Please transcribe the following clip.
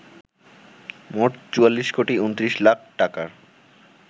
মোট ৪৪ কোটি ২৯ লাখ টাকার